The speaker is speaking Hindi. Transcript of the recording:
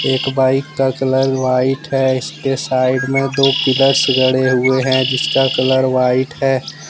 एक बाइक का कलर व्हाइट है इसके साइड में दो पिलर्स गड़े हुए हैं जिसका कलर व्हाइट है।